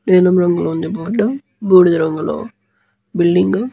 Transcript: నీలం రంగులో ఉంది బోర్డు బూడిద రంగులో బిల్డింగు --